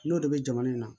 N'o de bɛ jamana in na